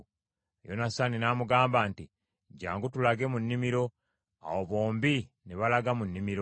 Yonasaani n’amugamba nti, “Jjangu tulage mu nnimiro.” Awo bombi ne balaga mu nnimiro.